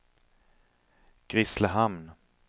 Grisslehamn